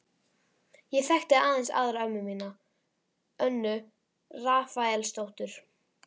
Ég þekkti aðeins aðra ömmu mína, Önnu Rafaelsdóttur.